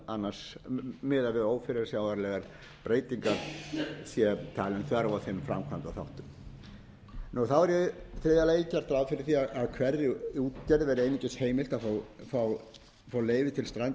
annars miðað við ófyrirsjáanlegar breytingar hér talin þörf á þeim framkvæmdaþáttum þá ári þriðja lagi gert ráð fyrir því að hverri útgerð verði einungis heimilt að fá og leyfi til strandveiða fyrir eitt fiskiskip takmörkun þessi er sett með tilvísun